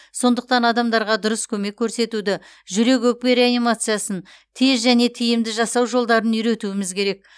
сондықтан адамдарға дұрыс көмек көрсетуді жүрек өкпе реанимациясын тез және тиімді жасау жолдарын үйретуіміз керек